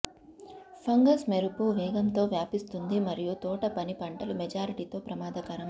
fungus మెరుపు వేగంతో వ్యాపిస్తుంది మరియు తోటపని పంటలు మెజారిటీతో ప్రమాదకరం